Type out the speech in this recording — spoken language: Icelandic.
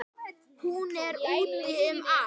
Hún er úti um allt.